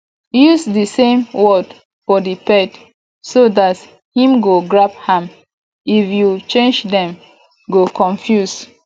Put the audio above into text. use di same word for di pet so dat im go grab am if you change dem go confuse